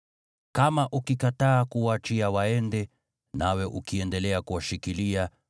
Kama ukikataa kuwaachia waende, nawe ukiendelea kuwashikilia,